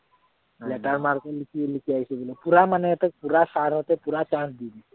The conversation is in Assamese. letter mark ৰ নিচিনা লিখি আহিছো বোলে। পূৰা মানে তাত পূৰা sir হঁতে পূৰা chance দি দিছে